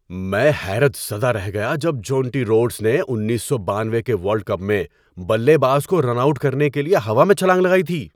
میں حیرت زدہ رہ گیا جب جونٹی روڈس نے انیس سو بانوے کے ورلڈ کپ میں بلے باز کو رن آؤٹ کرنے کے لیے ہوا میں چھلانگ لگائی تھی۔